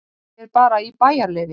Ég er bara í bæjarleyfi.